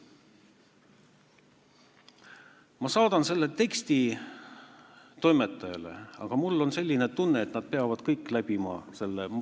Ma saadan selle teksti toimetajale, aga mul on selline tunne, et nad peavad kõik läbima selle ...